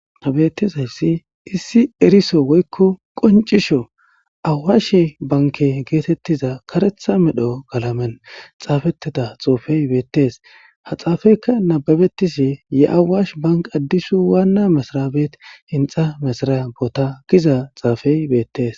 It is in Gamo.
ta bettezayssi issi eriso woykko qoncisho awaashe banke geetettiza karetha medho galamen xaafeteda xoofey beettes ha xaafeyka nababetisi ye7awash bank addisu waanna misraabet inxa mesraya boota giza xaafey beettes.